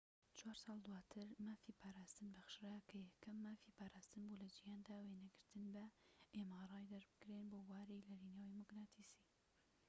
چوارساڵ دواتر مافی پاراستن بەخشرا، کە یەکەم مافی پاراستن بوو لە جیهاندا دەربکرێن بۆ بواری mri [وێنەگرتن بە لەرینەوەی موگناتیسی]